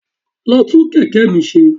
Lọ tún kẹ̀kẹ́ mi ṣe.